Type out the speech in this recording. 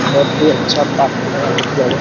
बहुत ही अच्छा पार्क लगा देखने में --